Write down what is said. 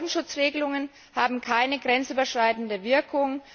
Bodenschutzregelungen haben keine grenzüberschreitende Wirkung.